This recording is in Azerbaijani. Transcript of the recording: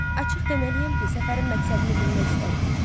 Açıq deməliyəm ki, səfərin məqsədini bilmək istərdim.